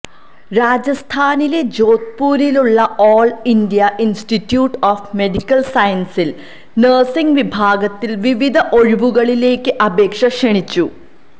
രാജസ്ഥാനിലെ ജോധ്പൂരിലുള്ള all India institute of medical സയൻസിൽ നേഴ്സിങ് വിഭാഗത്തിൽ വിവിധ ഒഴിവുകളിലേക്ക് അപേക്ഷ ക്ഷണിച്ചു